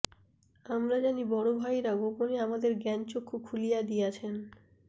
আমরা জানি বড় ভাইরা গোপনে আমাদের জ্ঞান চক্ষু খুলিয়া দিয়াছেন